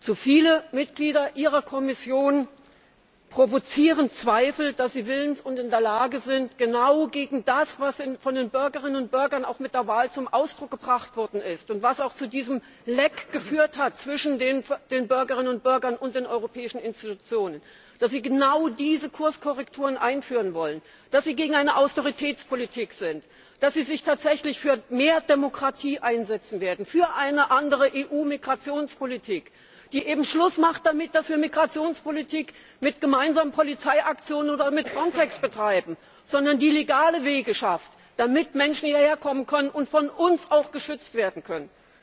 Zu viele Mitglieder Ihrer Kommission provozieren Zweifel, dass sie willens und in der Lage sind, genau gegen das vorzugehen, was von den Bürgerinnen und Bürgern auch mit der Wahl zum Ausdruck gebracht worden ist und was auch zu diesem Leck zwischen den Bürgerinnen und Bürgern und den europäischen Institutionen geführt hat, dass Sie genau diese Kurskorrekturen einführen wollen, dass Sie gegen eine Austeritätspolitik sind, dass Sie sich tatsächlich für mehr Demokratie einsetzen werden, für eine andere EU Migrationspolitik, die Schluss macht damit, dass wir Migrationspolitik mit gemeinsamen Polizeiaktionen oder mit Frontex betreiben, sondern die legale Wege schafft, damit Menschen hierher kommen und von uns auch geschützt werden können.